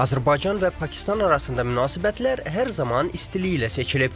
Azərbaycan və Pakistan arasında münasibətlər hər zaman istiliklə seçilib.